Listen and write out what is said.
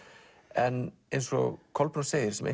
en eins og Kolbrún segir sem